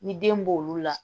Ni den b'olu la